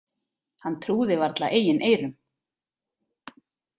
Hann trúði varla eigin eyrum.